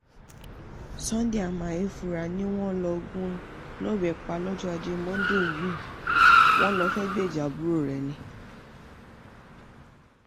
sunday amaefura ni wọ́n lọ gún un lọ́bẹ̀ pa lọ́jọ́ ajé monde yìí wọ́n lọ fẹ́ẹ́ gbèjà àbúrò ẹ̀ ni